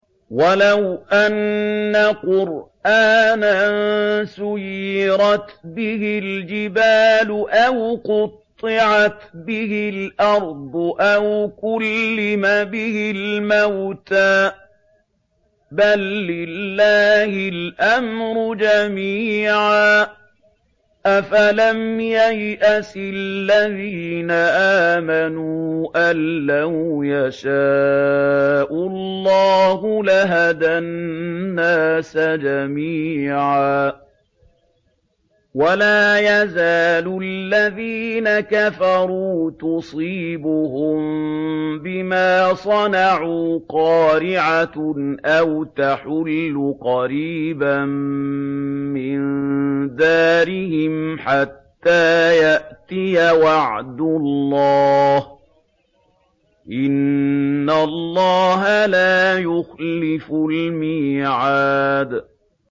وَلَوْ أَنَّ قُرْآنًا سُيِّرَتْ بِهِ الْجِبَالُ أَوْ قُطِّعَتْ بِهِ الْأَرْضُ أَوْ كُلِّمَ بِهِ الْمَوْتَىٰ ۗ بَل لِّلَّهِ الْأَمْرُ جَمِيعًا ۗ أَفَلَمْ يَيْأَسِ الَّذِينَ آمَنُوا أَن لَّوْ يَشَاءُ اللَّهُ لَهَدَى النَّاسَ جَمِيعًا ۗ وَلَا يَزَالُ الَّذِينَ كَفَرُوا تُصِيبُهُم بِمَا صَنَعُوا قَارِعَةٌ أَوْ تَحُلُّ قَرِيبًا مِّن دَارِهِمْ حَتَّىٰ يَأْتِيَ وَعْدُ اللَّهِ ۚ إِنَّ اللَّهَ لَا يُخْلِفُ الْمِيعَادَ